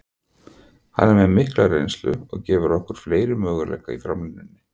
Hann er með mikla reynslu og gefur okkur fleiri möguleika í framlínunni.